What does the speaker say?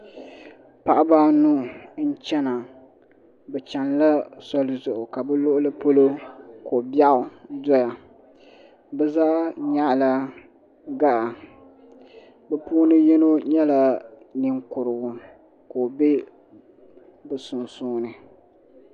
Paɣaba anu n chena bɛ chenila soli zuɣu ka luɣuli polo ko'biaɣu doya bɛ zaa nyaɣala gaɣa bɛ puuni yino nyɛla ninkurigu ka o be bɛ sunsuuni.